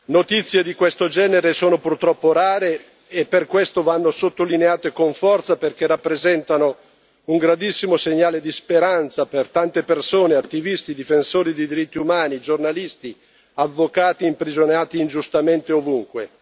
Notizie di questo genere sono purtroppo rare e per questo vanno sottolineate con forza, perché rappresentano un grandissimo segnale di speranza per tante persone attivisti, difensori dei diritti umani, giornalisti o avvocati imprigionati ingiustamente ovunque.